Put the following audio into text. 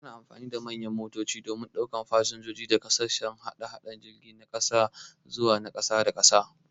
Ana amfani da manyan motoci domin daukan fasinjoji daga sashen hada-hadan jirgi na cikin gida zawa na kasa da kasa.